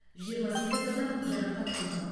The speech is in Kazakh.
жиырма сегіз адам жарақат алған